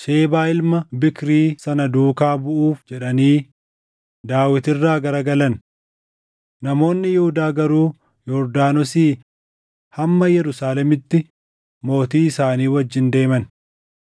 Shebaa ilma Biikrii sana duukaa buʼuuf jedhanii Daawit irraa garagalan. Namoonni Yihuudaa garuu Yordaanosii hamma Yerusaalemitti mootii isaanii wajjin deeman.